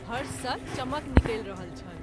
फर्स सँ चमक निकलि रहल छल।